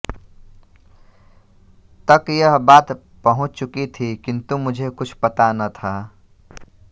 तक यह बात पहुंच चुकी थी किन्तु मुझे कुछ पता न था